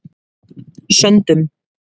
Söndum